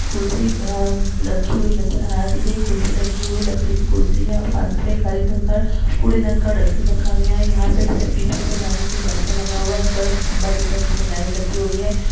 कुसरी रखी हुई नज़र आ रही है कुर्सी लगी हुई लकड़ी की कुर्सी हैऔर बाजू में एक हरे कलर का कूड़ेदान का डस्ट्बिन रखा गया है यहाँ बीच में से जाने के लिए रास्ता लगा हुआ है कर्ल खंबा दिख रहा है जिसमे लाइट लगी हुई है।